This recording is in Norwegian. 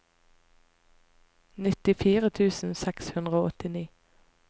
nittifire tusen seks hundre og åttini